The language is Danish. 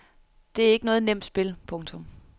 Det er ikke noget nemt spil. punktum